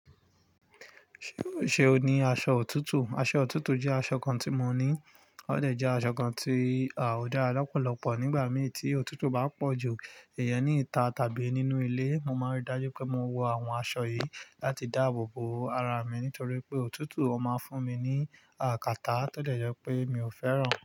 Ṣé o ní aṣọ òtútù? Aṣọ òtútù jẹ́ aṣọ kan tí mò ní. Ó dẹ̀ jẹ́ aṣọ kan tí à ó dára lọ́pọ̀lọpọ̀. Nígbà mìi tí òtútù bá pọ̀ ju ìyẹn ní ìta tàbí nínú ilé, mo máa ń rí dájú pé mo wọ àwọn aṣọ yìí láti dáàbò bo ara mi nítorí pé òtútù ó máa ń fún mi ní à kàtá tó dẹ jẹ́ pé mi ò fẹ́ràn.